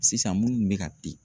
Sisan munnu bɛ ka di.